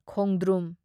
ꯈꯣꯡꯗ꯭ꯔꯨꯝ